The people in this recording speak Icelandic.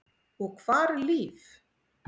Og hvar er Líf?